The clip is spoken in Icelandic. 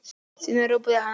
Síðan ropaði hann hátt.